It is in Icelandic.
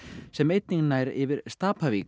sem einnig nær yfir